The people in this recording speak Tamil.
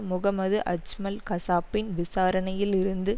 முகமது அஜ்மல் கசாப்பின் விசாரணையில் இருந்து